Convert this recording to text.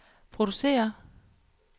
producerer